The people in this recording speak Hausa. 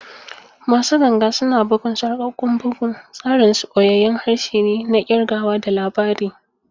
Masu ganga suna bugun sarƙaƙƙun bugu, tsarin su ɓoyayyun harshe ne na kirgawa da labari.